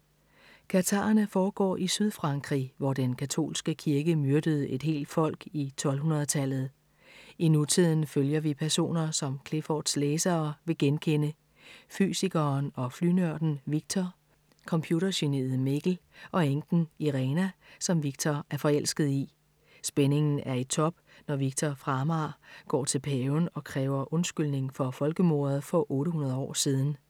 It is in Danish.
Katharerne foregår i Sydfrankrig, hvor den katolske kirke myrdede et helt folk i 1200-tallet. I nutiden følger vi personer, som Cliffords læsere vil genkende: Fysikeren og flynørden Viktor. Computergeniet Mikkel. Og enken Irena, som Viktor er forelsket i. Spændingen er i top, når Viktor fra Amager går til paven og kræver undskyldning for folkemordet for 800 år siden.